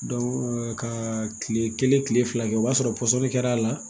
ka kile kelen kile fila kɛ o b'a sɔrɔ pɔsɔni kɛra a la